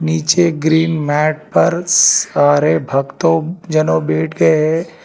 नीचे green mat पर सारे भक्तों जनों बैठ गए हैं।